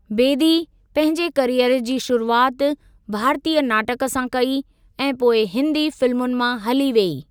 बेदी पंहिंजे कैरीयर जी शुरुआति भारतीय नाटकु सां कई ऐं पोइ हिंदी फिल्मुनि मां हली वेई।